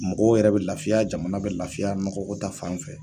Mɔgɔw yɛrɛ bɛ lafiya jamana bɛ lafiya nɔgɔ ko ta fan fɛ.